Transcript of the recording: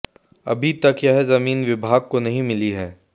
अभी तक यह जमीन विभाग को नहीं मिली है